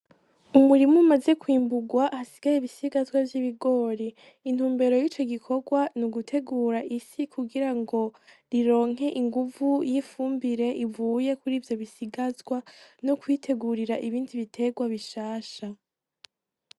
Umurima umaze kwimburwa hasigaye ibisigazwa vy'ibigori intumbero y'ico gikorwa n'ugutegura ifi kugirango rironke inguvu y'ifumbire ivuye kuri ivyo bisigazwa no kwitegurira ibindi biterwa bishasha.